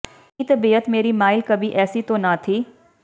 ਕਿ ਤਬੀਅਤ ਮੇਰੀ ਮਾਇਲ ਕਭੀ ਐਸੀ ਤੋ ਨ ਥੀ